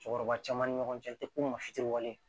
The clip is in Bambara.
Cɛkɔrɔba caman ni ɲɔgɔn cɛ